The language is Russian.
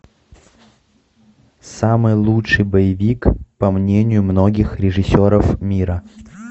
самый лучший боевик по мнению многих режиссеров мира